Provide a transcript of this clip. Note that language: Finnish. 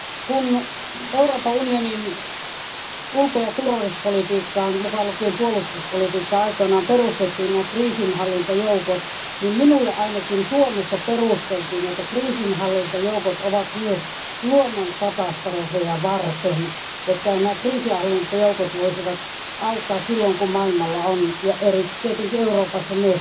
Kun Euroopan unionin ulko ja turvallisuuspolitiikkaan, mukaan lukien puolustuspolitiikka, aikoinaan perustettiin kriisinhallintajoukot, minulle ainakin Suomessa perusteltiin, että kriisinhallintajoukot ovat myös luonnonkatastrofeja varten, että kriisinhallintajoukot voisivat auttaa silloin kun maailmalla ja tietenkin myös Euroopassa on